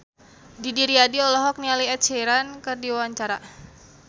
Didi Riyadi olohok ningali Ed Sheeran keur diwawancara